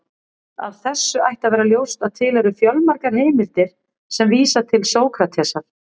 Af þessu ætti að vera ljóst að til eru fjölmargar heimildir sem vísa til Sókratesar.